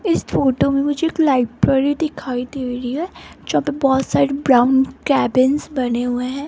इस फोटो में मुझे एक लाइब्रेरी दिखाई दे रही है जहां पे बहोत सारे ब्राउन केबिन्स बने हुए हैं।